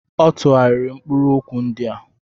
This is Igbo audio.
Ọ tụgharịrị mkpụrụ okwu ndị a.